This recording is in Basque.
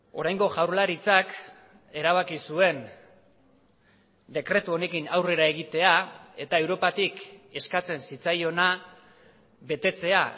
oraingo jaurlaritzak erabaki zuen dekretu honekin aurrera egitea eta europatik eskatzen zitzaiona betetzea